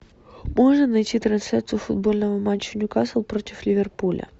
можно найти трансляцию футбольного матча ньюкасл против ливерпуля